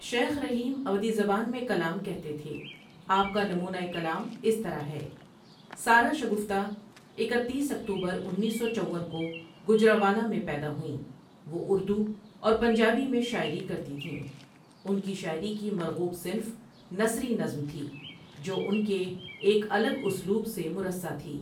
شیخ رحیم ادوھی زبان میں کلام کہتے تھےْ آپ کا نمونہ کلام اس طرح ہے سارہ شگفتہ اکتیس اکتوبر انیس سو چون کو گوجرانوالہ میں پیدا ہوئیں وہ اردو اور پنجابی میں شاعری کرتی تھیں ان کی شاعری کی مرغوب صنف نثری نظم تھی جو ان کے ایک الگ اسلوب سے مرصع تھی